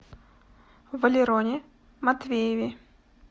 валероне матвееве